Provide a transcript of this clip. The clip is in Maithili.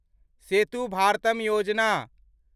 सेतु भारतम योजना